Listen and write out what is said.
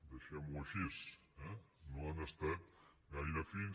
deixem ho així eh no han estat gaire fins